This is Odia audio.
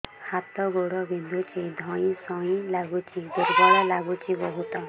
ହାତ ଗୋଡ ବିନ୍ଧୁଛି ଧଇଁସଇଁ ଲାଗୁଚି ଦୁର୍ବଳ ଲାଗୁଚି ବହୁତ